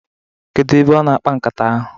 Kedu ebe ọ na-akpa nkata ahụ?